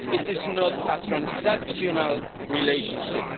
It is not a transactional relationship.